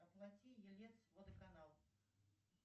оплати елец водоканал